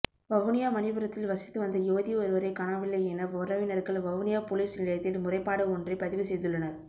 வவுனியா மணிபுரத்தில் வசித்து வந்த யுவதி ஒருவரை காணவில்லையென உறவினர்கள் வவுனியா பொலிஸ் நிலையத்தில் முறைப்பாடு ஒன்றை பதிவு செய்துள்ளனர்